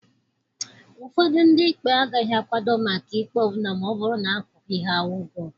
Ụfọdụ ndị ikpe agaghị akwado maka ikpe ọ bụla ma ọ bụrụ na akwụghị ha ụgwọ.